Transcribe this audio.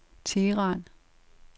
Teheran